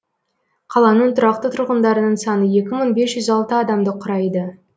қаланың тұрақты тұрғындарының саны екі мың бес жүз алты адамды құрайды